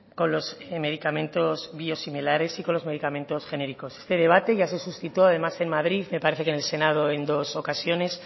con los medicamentos biosimilares y con los medicamentos genéricos este debate ya se suscitó además en madrid me parece que en el senado en dos ocasiones